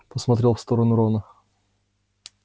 посмотрел в сторону рона